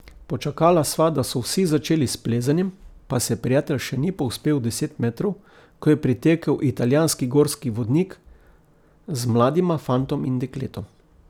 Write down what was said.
Počakala sva, da so vsi začeli s plezanjem, pa se prijatelj še ni povzpel deset metrov, ko je pritekel italijanski gorski vodnik z mladima fantom in dekletom.